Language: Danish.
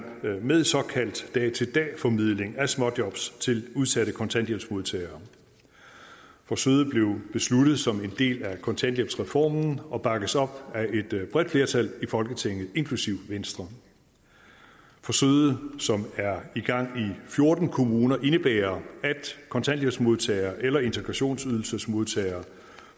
med såkaldt dag til dag formidling af småjob til udsatte kontanthjælpsmodtagere forsøget blev besluttet som en del af kontanthjælpsreformen og bakkes op af et bredt flertal i folketinget inklusive venstre forsøget som er i gang i fjorten kommuner indebærer at kontanthjælpsmodtagere eller integrationsydelsesmodtagere